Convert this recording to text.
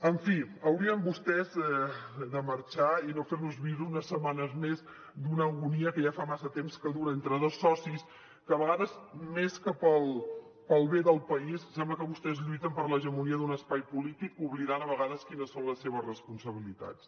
en fi haurien vostès de marxar i no fer nos viure unes setmanes més d’una agonia que ja fa massa temps que dura entre dos socis que a vegades més que pel bé del país sembla que vostès lluiten per l’hegemonia d’un espai polític oblidant a vegades quines són les seves responsabilitats